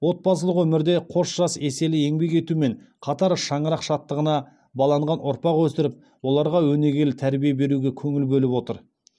отбасылық өмірде қос жас еселі еңбек етумен қатар шаңырақ шаттығына баланған ұрпақ өсіріп оларға өнегелі тәрбие беруге көңіл бөліп отыр